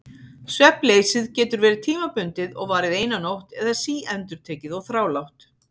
Svefnleysið getur verið tímabundið og varað eina nótt eða síendurtekið og þrálátt.